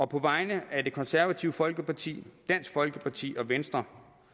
på vegne af det konservative folkeparti dansk folkeparti og venstre